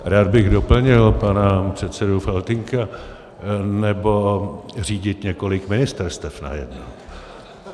Rád bych doplnil pana předsedu Faltýnka - nebo řídit několik ministerstev najednou.